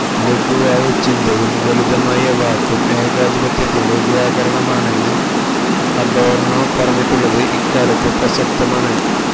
ലഘുവായ ചിന്തയും ലളിതമായ വാക്കും ഏകാധിപത്യത്തിന്റെ വ്യാകരണമാണെന്ന് അഡോർണോ പറഞ്ഞിട്ടുള്ളത് ഇക്കാലത്ത് പ്രസക്തമാണ്